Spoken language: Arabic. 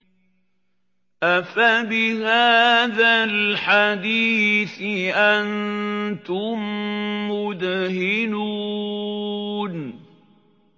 أَفَبِهَٰذَا الْحَدِيثِ أَنتُم مُّدْهِنُونَ